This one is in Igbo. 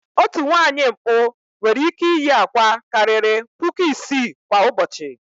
Otu nwaanyị mkpụ nwere ị́kẹ́ iyi àkwá karịrị puku isii kwa ụbọchị.